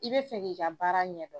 I bɛ fɛ k'i ka baara ɲɛ dɔn.